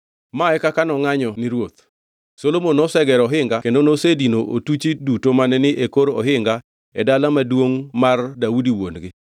Ma e kaka nongʼanyo ni ruoth: Solomon nosegero ohinga kendo nosedino otuchi duto mane ni e kor ohinga e dala maduongʼ Daudi wuon-gi